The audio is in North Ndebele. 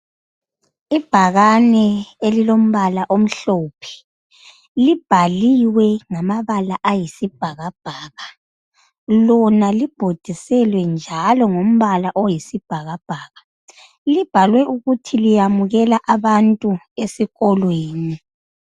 Ibhakane elilombala omhlophe libhaliwe ngamabala ayisibhakabhaka lona libhodiselwe njalo ngombala oyisibhakabhaka libhaliwe ukuthi liyamukela abantu esikolweni.